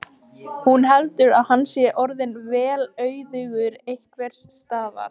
spurði afgreiðslustúlkan og jórtraði tyggigúmmí af miklum móð.